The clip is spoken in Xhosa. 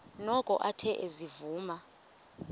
noko athe ezivuma